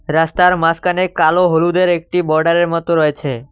রাস্তার মাঝখানে কালো হলুদের একটি বর্ডারের মতো রয়েছে।